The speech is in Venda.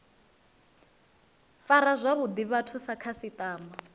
fara zwavhuḓi vhathu sa khasiṱama